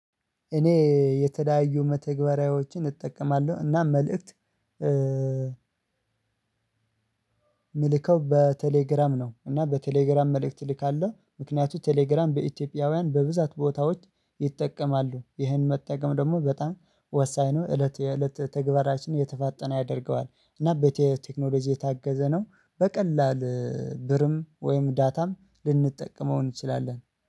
እኔ የተለያዩ መተግበሪያዎችን እጠቀማለሁ እና መልእክት ምልከው በቴሌግራም ነው። እና በቴሌግራም መልእክት ልካለሁ ምክንያቱም ቴሌግራም በኢትዮጵያውያን በብዛት ቦታዎች ይጠቀማሉ ይህን መጠቀም ደግሞ በጣም ወሳኝ ነው። እለት የእለት ተግባራችን የተፋጠነ ያደርገዋል እና በቲኢዬቴክኖሎጂ የታገዘ ነው። በቀላል ብርም ወይም ዳታም ልንጠቀመው እንችላለን